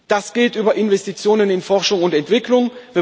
Das geht über Investitionen in Forschung und Entwicklung.